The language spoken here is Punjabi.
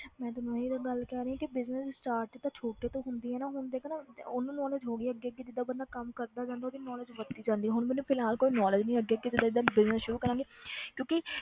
ਮੈਂ ਤੈਨੂੰ ਇਹੀ ਤਾਂ ਗੱਲ ਕਹਿ ਰਹੀ ਹਾਂ ਕਿ business start ਤਾਂ ਛੋਟੇ ਤੋਂ ਹੁੰਦੀ ਹੈ ਨਾ ਹੁਣ ਦੇਖ ਨਾ ਤੇ ਉਹਨੂੰ knowledge ਹੋ ਗਈ ਅੱਗੇ ਕਿ ਜਿੱਦਾਂ ਬੰਦਾ ਕੰਮ ਕਰਦਾ ਜਾਂਦਾ ਉਹਦੀ knowledge ਵੱਧਦੀ ਜਾਂਦੀ ਹੈ, ਹੁਣ ਮੈਨੂੰ ਫਿਲਹਾਲ ਕੋਈ knowledge ਨੀ ਅੱਗੇ ਅੱਗੇ ਜਿੱਦਾਂ ਜਿੱਦਾਂ business ਸ਼ੁਰੂ ਕਰਾਂਗੀ ਕਿਉਂਕਿ